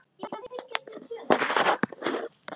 Einnig orð geta orðið eldfim.